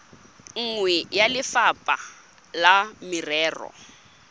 nngwe ya lefapha la merero